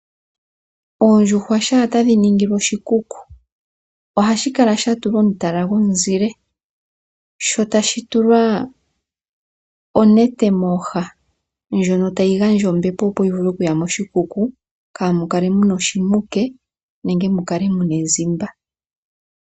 Oondjuhwa shampa tadhi ningilwa oshikuku ohadhi kala dha tulwa omutala gomuzile sho tashi tulwa onete mooha ndjono tayi gandja ombepo, opo yi vule okuya moshikuku, kaa mu kale mu n aoshimuke nenge mu kale mu n aezimba.